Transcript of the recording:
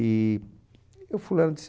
E o fulano disse...